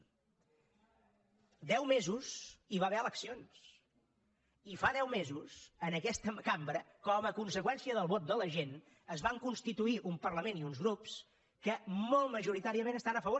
fa deu mesos hi va haver eleccions i fa deu mesos en aquesta cambra com a conseqüència del vot de la gent es van constituir un parlament i uns grups que molt majoritàriament estan a favor